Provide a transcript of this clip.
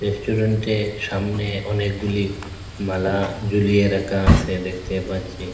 রেস্টুরেন্টে সামনে অনেকগুলি মালা ঝুলিয়ে রাখা আছে দেখতে পাচ্ছি।